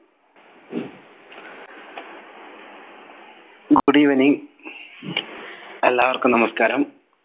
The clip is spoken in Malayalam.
good evening എല്ലാവർക്കും നമസ്കാരം